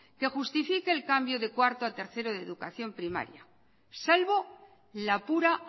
que justifique el cambio de cuarto a tercero de educación primaria salvo la pura